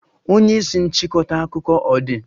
Onye isi nchịkọta akụkọ ọ dị?